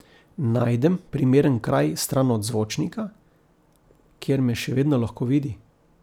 Najdem primeren kraj stran od zvočnika, kjer me še vedno lahko vidi.